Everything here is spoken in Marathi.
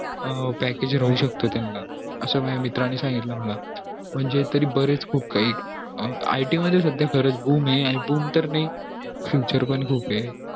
अं package राहू शकत त्याना असं माझ्या मित्रा नि सांगितलं मला म्हणजे तरी बरेच खूप काही अं आता it मध्ये च आता सध्या ये तर नई future पण खूप आहे